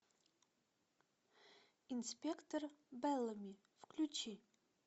инспектор беллами включи